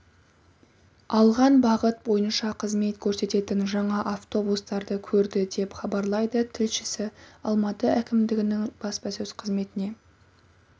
алған бағыт бойынша қызмет көрсететін жаңа автобустарды көрді деп хабарлайды тілшісі алматы әкімдігінің баспасөз қызметіне